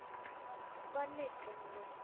બંને છે મારું